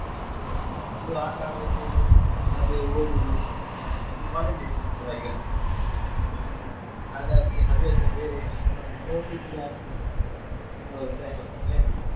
ನಮ್ದು ಆಟ ಆಡುದು ಅದೇ ಓದುದು ನಮ್ಮದು college ಅಲ್ಲ ಈಗ ಹಾಗಾಗಿ ಹವ್ಯಾಸ ಬೇರೆಯೇ ಸೃಷ್ಟಿ ಹೌದು time, time ಬೇಕಲ್ಲ.